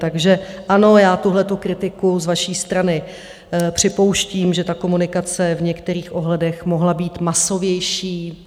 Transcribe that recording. Takže ano, já tuhletu kritiku z vaší strany připouštím, že ta komunikace v některých ohledech mohla být masovější.